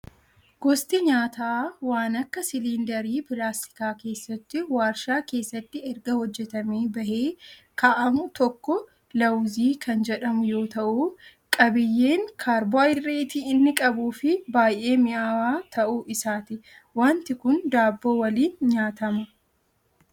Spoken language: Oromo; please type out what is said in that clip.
Gosti nyaataa waan akka siliindarii pilaastikaa keessatti warshaa keessatti erga hojjatamee bahee kaa'amu tokko laawuzii kan jedhamu yoo ta'u, qabiyyeen kaarboohayidireetii inni qabuu fi baay'ee mi'aawaa ta'uu isaati. Wanti kun daabboo waliin nyaatama.